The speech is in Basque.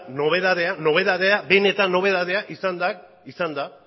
nobedadeak benetan nobedadea izan da